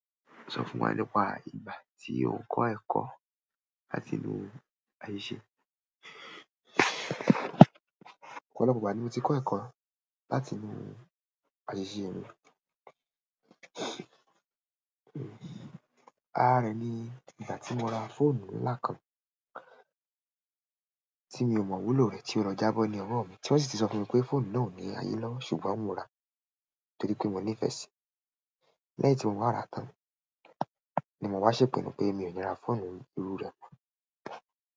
Sọ fún wa nípa ìgbà tí o kọ́ ẹ̀kọ́ láti inú àṣìṣe. Ọ̀pọ̀lọpọ̀ ìgbà ni mo ti kọ́ ẹ̀kọ́ látinú àṣìṣe mi àárín ni ìgbà tí mo ra fóònù ńlá kan tí mi ò mọ wúlò rẹ̀ tí ó lọ jábọ́ ni ọwọ́ mi, tí wọ́n sì ti sọ fún mi pé fóònù náà ò ní ayé lọ́, ṣùgbọ́n mo ra á torí pé mo nífẹ̀ẹ́ sí i. Lẹ́yìn tí mo ń wá ràá tán ni mo wá ṣèpinnu pé mi ò ní ra fóònù irú rẹ̀ mọ́.